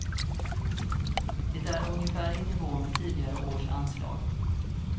Det är ungefär i nivå med tidigare års anslag.